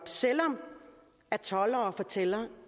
selv om toldere fortæller